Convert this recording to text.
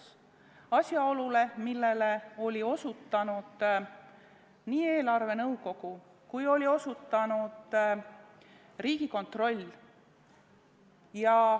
See on asjaolu, millele oli osutanud nii eelarvenõukogu kui ka Riigikontroll.